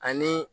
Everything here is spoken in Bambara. Ani